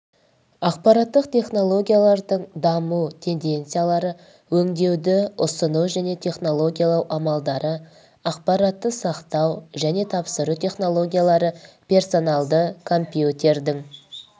ақпараттық технологиялардың даму тенденциялары өңдеуді ұсыну және технологиялау амалдары ақпаратты сақтау және тапсыру технологиялары персоналды компьютердің